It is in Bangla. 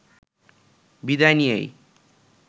বিদায় নিয়েই